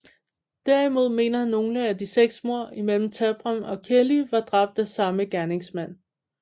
Derimod mener nogle at de seks mord imellem Tabram og Kelly var dræbt af samme gerningsmand